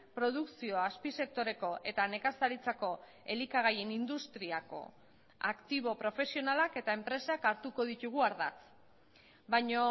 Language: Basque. produkzioa azpisektoreko eta nekazaritzako elikagaien industriako aktibo profesionalak eta enpresak hartuko ditugu ardatz baina